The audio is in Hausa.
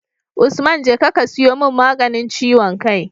Usman jeka ka siyo mun maganin ciwon kai